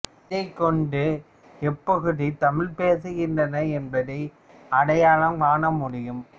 இதைக் கொண்டே எப்பகுதி தமிழ் பேசுகின்றனர் என்பதை அடையாளம் காண முடியும்